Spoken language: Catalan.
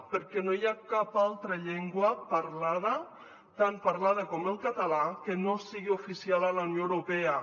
perquè no hi ha cap altra llengua parlada tan parlada com el català que no sigui oficial a la unió europea